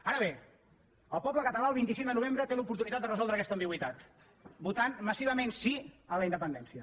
ara bé el poble català el vint cinc de novembre té l’oportunitat de resoldre aquesta ambigüitat votant massivament sí a la independència